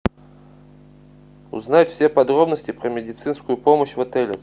узнать все подробности про медицинскую помощь в отеле